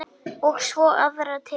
Og svo aðra til.